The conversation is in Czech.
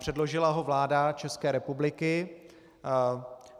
Předložila ho vláda České republiky.